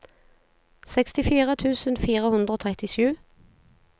sekstifire tusen fire hundre og trettisju